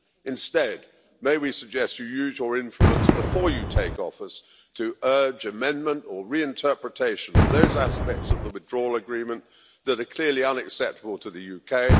Instead, may we suggest you use your influence before you take office to urge amendment or reinterpretation of those aspects of the Withdrawal Agreement that are clearly unacceptable to the UK.